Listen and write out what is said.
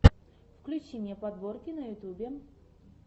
включи мне подборки на ютьюбе